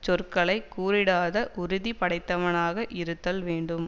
சொற்களை கூறிடாத உறுதி படைத்தவனாக இருத்தல் வேண்டும்